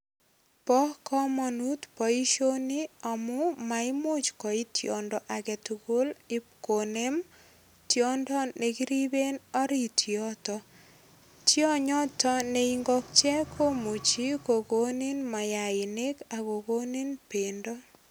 Bo kamanut boisioni amu maimuch koip tiondo agetugul ipkonem tiondo nekiriben orit yuto. Tionyoto ne ingokiet komuchi kokonin mayainik ak kokonin bendo.